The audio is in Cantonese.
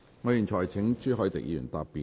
我現在請朱凱廸議員答辯。